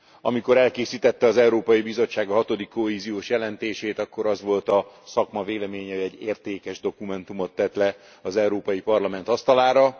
Amikor elkészítette az Európai Bizottság a hatodik kohéziós jelentését, akkor az volt a szakma véleménye, hogy egy értékes dokumentumot tett le az Európai Parlament asztalára.